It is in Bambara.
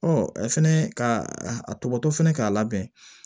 fɛnɛ ka a tɔgɔ to fana k'a labɛn